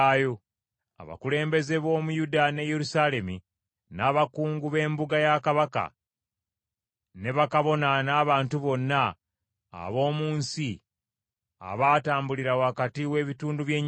Abakulembeze b’omu Yuda ne Yerusaalemi, n’abakungu b’embuga ya kabaka, ne bakabona n’abantu bonna ab’omu nsi abaatambulira wakati w’ebitundu by’ennyana,